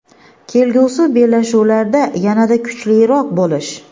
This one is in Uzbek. kelgusi bellashuvlarda yanada kuchliroq bo‘lish.